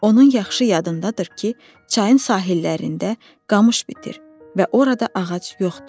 Onun yaxşı yadındadır ki, çayın sahillərində qamış bitir və orada ağac yoxdur.